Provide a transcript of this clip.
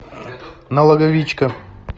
налоговичка